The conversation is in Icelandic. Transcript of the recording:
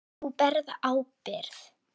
Þú berð ábyrgð.